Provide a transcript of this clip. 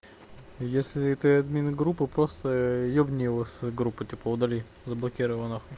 если ты админ группы просто ёбни его с группы типа удали заблокируй его на хуй